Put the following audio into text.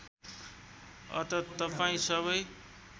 अत तपाईँ सबै